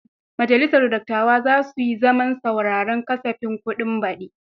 Majalisar dattawa za su yi zaman sauraren kasafin kuɗin baɗi.